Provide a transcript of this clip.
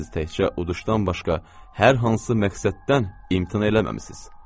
Siz təkcə uduşdan başqa hər hansı məqsəddən imtina eləməmisiz.